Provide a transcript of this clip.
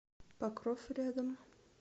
покров рядом